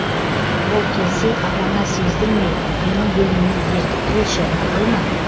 ол келсе апаңа сездірмей менің бөлмеме ертіп келші мақұл ма